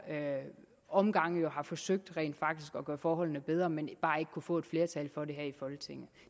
omgange rent faktisk har forsøgt at gøre forholdene bedre men bare ikke har få et flertal for det her i folketinget